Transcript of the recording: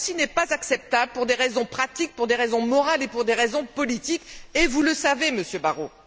Ce n'est pas acceptable pour des raisons pratiques, pour des raisons morales et pour des raisons politiques, et vous le savez, Monsieur Barrot!